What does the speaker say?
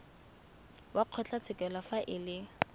wa kgotlatshekelo fa e le